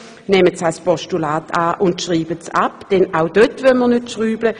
Wir nehmen die Punkte an und schreiben sie ab, denn auch dort wollen wir nicht herumschrauben.